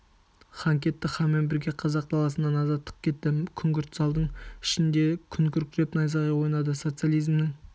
хан кетті ханмен бірге қазақ даласынан азаттық кетті күңгірт залдың ішінде күн күркіреп найзағай ойнады социализмнің